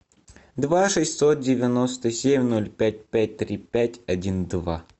два шестьсот девяносто семь ноль пять пять три пять один два